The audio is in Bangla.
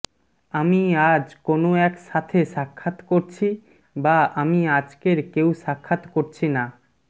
আমি আজ কোন এক সাথে সাক্ষাৎ করছি বা আমি আজকের কেউ সাক্ষাৎ করছি না